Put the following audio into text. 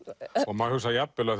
maður hugsar jafnvel